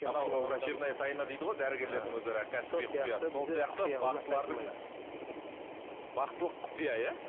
анау врачебная тайна дейді ғой дәрігерлердің өзара бақсылық құпия иә